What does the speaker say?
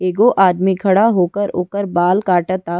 एगो आदमी खड़ा होकर ओकर बाल काटता।